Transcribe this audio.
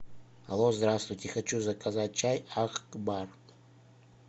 алло здравствуйте хочу заказать чай акбар